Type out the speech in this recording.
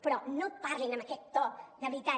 però no parlin amb aquest to de veritat